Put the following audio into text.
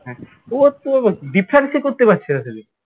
হ্যাঁ ও তো কে করতে পারছে না সেদিন